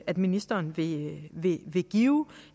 at ministeren vil give